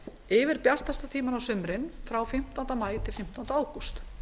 yfir bjartasta tímann á sumrin frá fimmtánda maí til fimmtánda ágúst